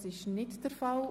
Dies ist nicht der Fall.